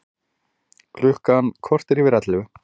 Klukkan korter yfir ellefu